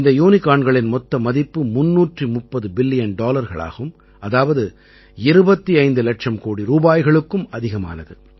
இந்த யூனிகார்ன்களின் மொத்த மதிப்பு 330 பில்லியன் டாலர்கள் ஆகும் அதாவது 25 இலட்சம் கோடி ரூபாய்களுக்கும் அதிகமானது